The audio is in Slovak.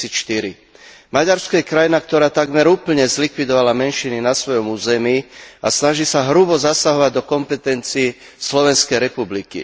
2004. Maďarsko je krajina, ktorá takmer úplne zlikvidovala menšiny na svojom území a snaží sa hrubo zasahovať do kompetencií Slovenskej republiky.